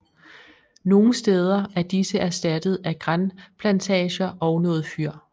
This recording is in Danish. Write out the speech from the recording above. Nogen steder er disse erstattet af granplantager og noget fyr